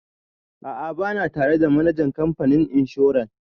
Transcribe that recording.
A'a ba na tare da manajan kamfanin inshoran.